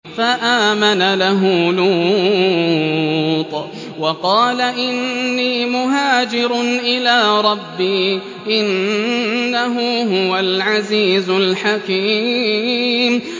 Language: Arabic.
۞ فَآمَنَ لَهُ لُوطٌ ۘ وَقَالَ إِنِّي مُهَاجِرٌ إِلَىٰ رَبِّي ۖ إِنَّهُ هُوَ الْعَزِيزُ الْحَكِيمُ